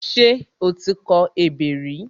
Ṣé o ti kọ ebè rẹ?